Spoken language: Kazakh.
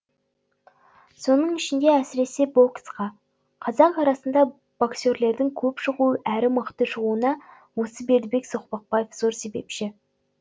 соның ішінде әсіресе боксқа қазақ арасында боксерлердің көп шығуы әрі мықты шығуына осы бердібек соқпақбаев зор себепші